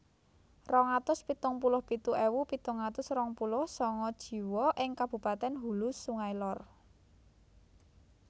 Rong atus pitung puluh pitu ewu pitung atus rong puluh sanga jiwa ing kabupatèn Hulu Sungai Lor